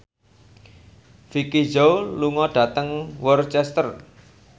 Vicki Zao lunga dhateng Worcester